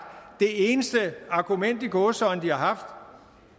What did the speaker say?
det eneste argument i gåseøjne de har haft